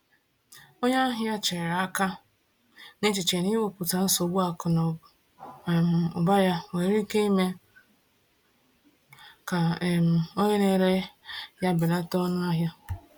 Onye ahịa chere aka, n’echiche na ikwupụta nsogbu akụ na um ụba ya nwere ike ime ka um onye na-ere ya belata ọnụahịa.